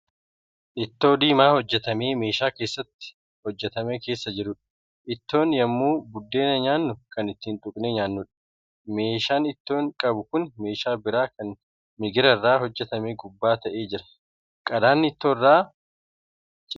Ittoo diimaa hojjatame meeshaa keessatti hojjatame keessa jiruudha. ittuun yemmuu buddeena nyaannu kan ittti tuqnnee nyaannudha. meeshaan ittoo qabu Kuni meeshaa biraa Kan migirarraa hojjatame gubbaa ta'ee jira. qadaadni ittoorraa cinaatti banamee Jira.